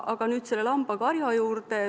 Aga nüüd selle lambakarja juurde.